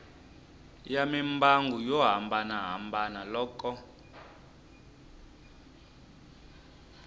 ya mimbangu yo hambanahambana loko